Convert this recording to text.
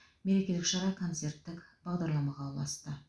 мерекелік шара концерттік бағдарламаға ұласты